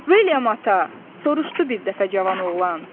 "William ata, - soruşdu bir dəfə Cavan oğlan.